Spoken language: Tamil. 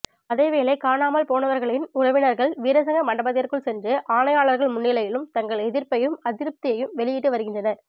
அதேவேளை காணாமல்போனவர்களின் உறவினர்கள் வீரசிங்க மண்டபத்திற்குள் சென்று ஆணையாளர்கள் முன்னிலையிலும் தங்கள் எதிர்ப்பையும் அதிருப்தியையும் வெளியிட்டுவருகின்றனர்